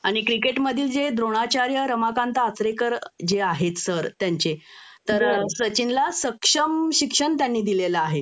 आणि क्रिकेटमधील जे द्रोणाचार्य रमाकांत आचरेकर जे आहेत सर त्यांचे तर सचिन ला सक्षम शिक्षण त्यांनी दिलेलं आहे